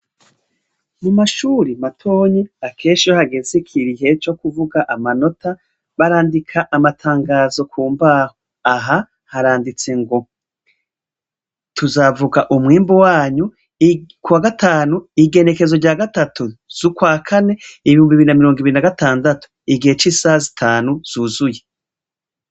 Mu mashuri matoyi akenshi iyo hageze igihe co kuvuga amanota, barandika amatangazo ku mbaho. Aha haranditse ngo "tuzavuga umwimbu wanyu kwa gatanu igenekezo rya gatatu z'ukwakane ibihumbi bibiri na mirongo ibiri na gatandatu, igihe c'isaha zitanu zuzuye".